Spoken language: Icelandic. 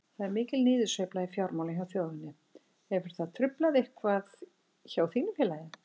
Það er mikil niðursveifla í fjármálum hjá þjóðinni, hefur það truflað eitthvað hjá þínu félagi?